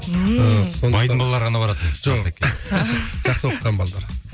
ммм ыыы сондықтан байдың балалары ғана баратын артекке жоқ жақсы оқыған балалар